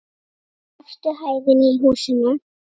Efstu hæðinni í húsinu.